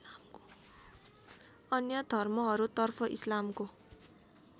अन्य धर्महरूतर्फ इस्लामको